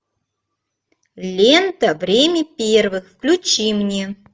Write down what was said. лента время первых включи мне